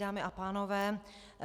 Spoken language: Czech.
Dámy a pánové.